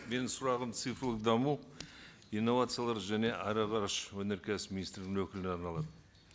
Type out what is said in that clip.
менің сұрағым цифрлық даму инновациялар және аэроғарыш өнеркәсібі министрлігінің өкіліне арналады